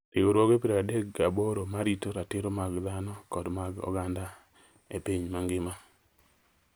riwruoge piero adek gi aboro ma rito ratiro mag dhano kod mag oganda e piny mangima